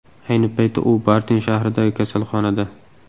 Ayni paytda u Bartin shahridagi kasalxonada.